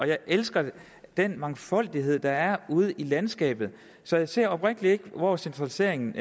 jeg elsker den mangfoldighed der er ude i landskabet så jeg ser oprigtig talt ikke hvor centraliseringen